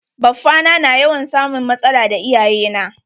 Baffa na na yawan samun matsala da iyaye na.